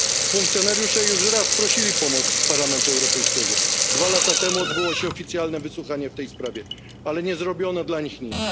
Funkcjonariusze już raz prosili o pomoc Parlament Europejski, dwa lata temu odbyło się oficjalne wysłuchanie w tej sprawie, ale nie zrobiono dla nich nic.